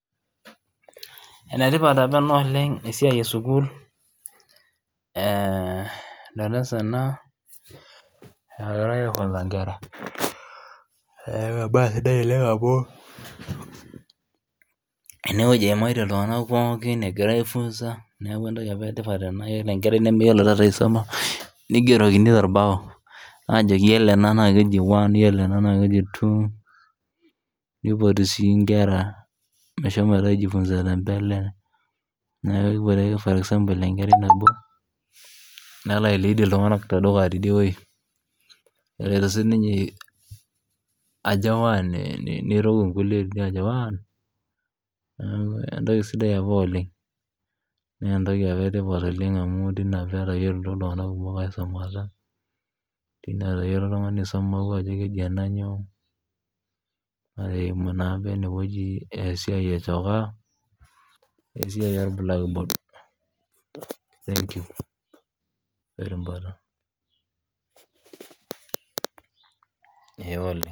Enetipata taata ena oleng',esiaai esukuul darasa ena egira aifunsa inkerra, naaku embaye sidai oleng' amuu eneweji eimatie ltung'anak pookin egira aifunsa naaku entoki apa etipat ana naaku iyolo enkarrai taata nemeyiolo taata aisuma neigerokini te embao aajoki iyolo ena naa keji one iyolo ena naa keji two neipoti sii inkerra meshomo aijifunsa tembele naakubore taaa for example enkerrainabo nelo ailiid ltung'anak te dukuya tedie, ore eloto sii ninye ajo one neiruk inkule aajo one naaku entoki sidai apa oleng',naa entoki apa etipata oleng' amuu teine apa etayiolito ltung'anak kumok aisumata teine etayiolo oltung'ania aisuma atuaa keji ana nyoo neimu naake eneweji esiaii e chokaa esiaii e blackboard.